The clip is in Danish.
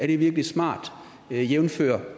det virkelig smart jævnfør